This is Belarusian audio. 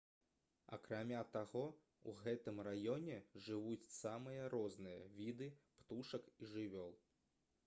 акрамя таго у гэтым раёне жывуць самыя розныя віды птушак і жывёл